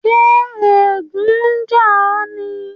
Ṣè ègùn n jà o ní?